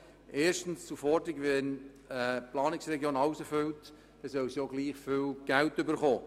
Erstens zur Forderung, die Planungsregion solle, wenn sie alles übernimmt, gleich viel Geld erhalten.